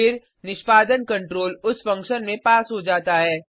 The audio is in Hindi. फिर निष्पादन कंट्रोल उस फंक्शन में पास हो जाता है